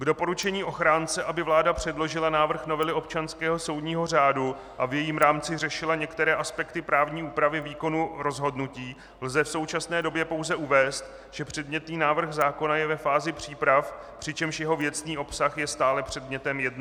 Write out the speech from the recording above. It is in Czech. K doporučení ochránce, aby vláda předložila návrh novely občanského soudního řádu a v jejím rámci řešila některé aspekty právní úpravy výkonu rozhodnutí, lze v současné době pouze uvést, že předmětný návrh zákona je ve fázi příprav, přičemž jeho věcný obsah je stále předmětem jednání.